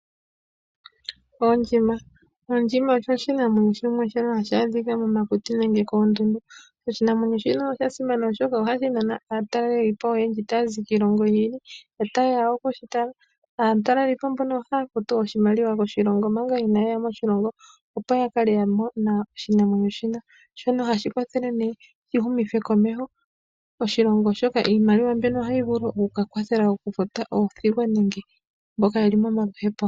Ondjima. Ondjima osho oshinamwenyo shimwe shono hashi adhika momakuti nenge koondundu. Oshinamwenyo shino osha simana, oshoka ohashi nana aatalelipo oyendji taya zi kiilongo yi ili notaye ya oku shi tala. Aatalelipo mbono ohaya futu oshimaliwa koshilongo manga inaaye ya moshilongo, opo ya kale ya mona oshinamwenyo shika, shono hashi kwathele nee shi humithe komeho oshilongo, oshoka iimaliwa mbyono ohayi vulu oku ka kwathela okufuta oothigwa nenge mboka ye li momaluhepo.